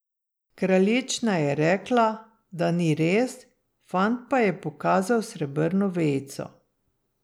Kraljična je rekla, da ni res, fant pa je pokazal srebrno vejico.